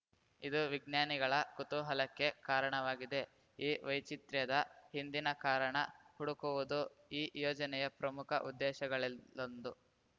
ಇದು ವಿಜ್ಞಾನಿಗಳ ಕುತೂಹಲಕ್ಕೆ ಕಾರಣವಾಗಿದೆ ಈ ವೈಚಿತ್ರ್ಯದ ಹಿಂದಿನ ಕಾರಣ ಹುಡುಕುವುದು ಈ ಯೋಜನೆಯ ಪ್ರಮುಖ ಉದ್ದೇಶಗಳಲ್ಲೊಂದು